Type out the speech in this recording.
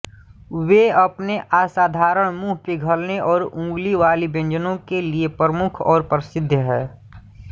वे अपने असाधारण मुंहपिघलने और उंगली वाली व्यंजनों के लिए प्रमुख और प्रसिद्ध हैं